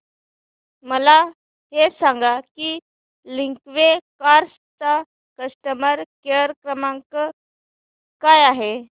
मला हे सांग की लिंकवे कार्स चा कस्टमर केअर क्रमांक काय आहे